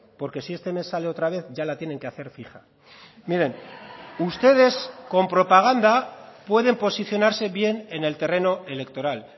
porque si este mes sale otra vez ya la tienen que hacer fija miren ustedes con propaganda pueden posicionarse bien en el terreno electoral